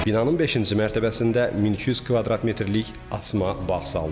Binanın beşinci mərtəbəsində 1200 kvadrat metrlik asma bağ salınıb.